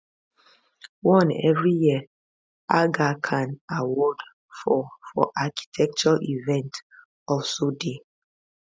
one every year aga khan award for for architecture event also dey